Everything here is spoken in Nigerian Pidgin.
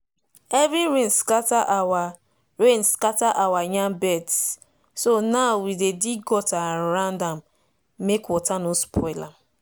heavy rain scatter our rain scatter our yam beds so now we dey dig gutter around am make water no spoil am